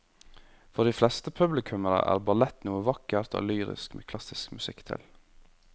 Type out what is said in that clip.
For de fleste publikummere er ballett noe vakkert og lyrisk med klassisk musikk til.